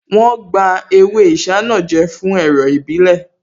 Wọ́n gba ewé Isanaje fún ẹ̀rọ̀ ìbílẹ̀